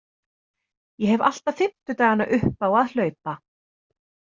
Ég hef alltaf fimmtudagana upp á að hlaupa.